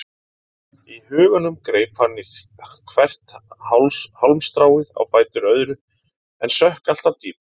Í huganum greip hann í hvert hálmstráið á fætur öðru en sökk alltaf dýpra.